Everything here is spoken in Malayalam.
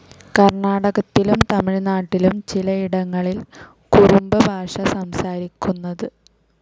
കർണ്ണാടകത്തിലും തമിഴ്നാട്ടിലും ചിലയിടങ്ങളിൽ കുറുംബ ഭാഷ സംസാരിക്കുന്നത്.